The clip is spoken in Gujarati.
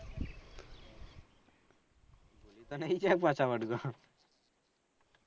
પાછા વડી તો